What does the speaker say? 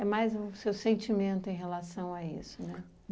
É mais um seu sentimento em relação a isso, né?